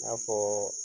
I n'a fɔɔ